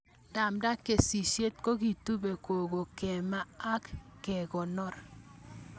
Ndapata kesishet kokitupe koko kemaa ak kekonor